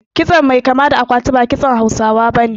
Kitson mai kama da akwati ba kitson Hausawa bane